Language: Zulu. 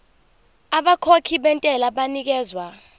abakhokhi bentela banikezwa